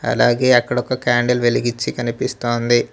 అలాగే అక్కడ ఒక క్యాండిల్ వెలిగించి కనిపిస్తోంది.